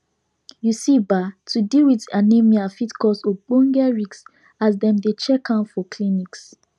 you see ba to deal with anemia fit cause ogboge risks as dem dey check am for clinics